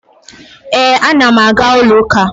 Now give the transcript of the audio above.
Ee, ana m aga ụlọụka